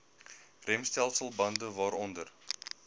remstelsel bande waaronder